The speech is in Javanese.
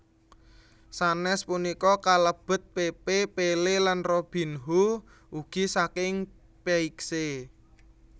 Sanes punika kalebet Pepe Pelé lan Robinho ugi saking Peixe